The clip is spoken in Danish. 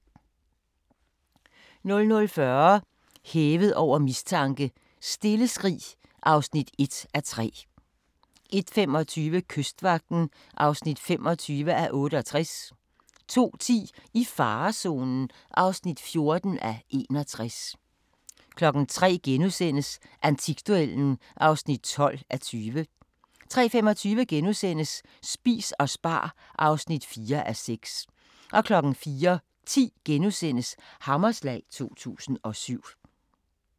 00:40: Hævet over mistanke: Stille skrig (1:3) 01:25: Kystvagten (25:68) 02:10: I farezonen (14:61) 03:00: Antikduellen (12:20)* 03:25: Spis og spar (4:6)* 04:10: Hammerslag 2007 *